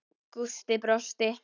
Gústi brosti.